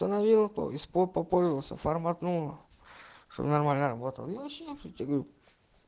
установило по попользовался форматного что нормально работала очень хотим